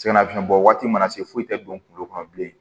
Sɛgɛnnafiɲɛbɔ waati mana se foyi tɛ don kulo kɔnɔ bilen